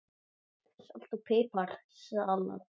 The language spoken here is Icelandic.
Salt og pipar salat